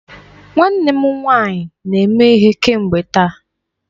Nwanne m nwanyị na eme ihe kemgbe taa.